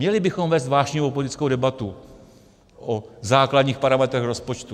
Měli bychom vést vášnivou politickou debatu o základních parametrech rozpočtu.